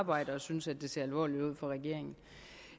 arbejde at synes at det ser alvorligt ud for regeringen